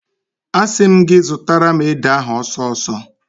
Asị m gị zụtara m ede ahụ ọsọ ọsọ!